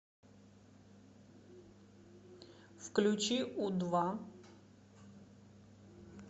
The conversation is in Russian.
включи у два